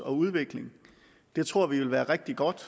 og udvikling det tror vi vil være rigtig godt